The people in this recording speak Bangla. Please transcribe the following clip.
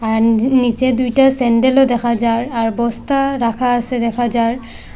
আর যে নীচে দুইটা সেন্ডেলও দেখা যার আর বস্তা রাখা আসে দেখা যার।